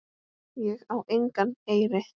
Ég á engan eyri.